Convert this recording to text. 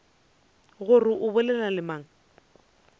gore o bolela le mang